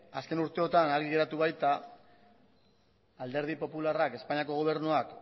azken urteotan argi geratu baita alderdi popularrak espainiako gobernuak